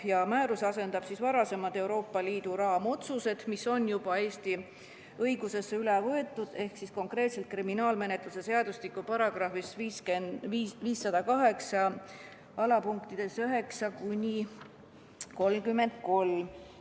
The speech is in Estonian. See määrus asendab varasemad Euroopa Liidu raamotsused, mis on juba Eesti õigusesse üle võetud – konkreetsemalt öeldes on need sätestatud kriminaalmenetluse seadustiku §‑des 5089–50833.